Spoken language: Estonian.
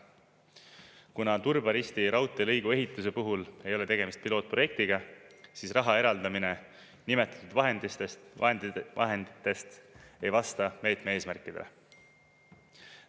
Kuna Turba-Risti raudteelõigu ehituse puhul ei ole tegemist pilootprojektiga, siis raha eraldamine nimetatud vahenditest ei vasta meetme eesmärkidele.